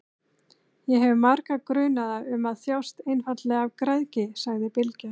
Ég hef marga grunaða um að þjást einfaldlega af græðgi, sagði Bylgja.